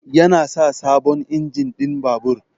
Yana sa sabon injin ɗin babur.